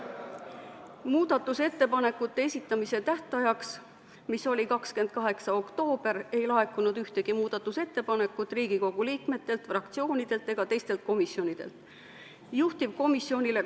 Muudatusettepanekute esitamise tähtajaks, mis oli 28. oktoober, ei laekunud Riigikogu liikmetelt, fraktsioonidelt ega teistelt komisjonidelt ühtegi muudatusettepanekut.